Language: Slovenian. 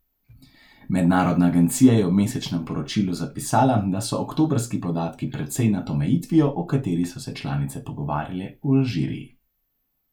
Mednarodna agencija je v mesečnem poročilu zapisala, da so oktobrski podatki precej nad omejitvijo, o kateri so se članice pogovarjale v Alžiriji.